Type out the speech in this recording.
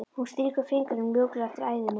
Hún strýkur fingrunum mjúklega eftir æðunum.